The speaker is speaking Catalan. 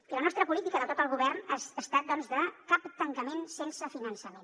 i la nostra política de tot el govern ha estat de cap tancament sense finançament